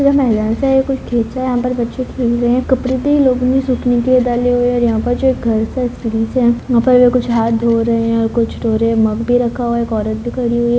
यह मैदान सा है कुछ है। यहाँ पर बच्चे खेल रहें हैं। कपड़े भी लोगों ने सूखने के लिए डाले हुए हैं और यहाँ पर जो एक घर सा है सा है वहाँ पर कुछ हाथ धो रहें हैं और कुछ धो रहें हैं मग भी रखा हुआ है एक औरत भी खड़ी हुई है।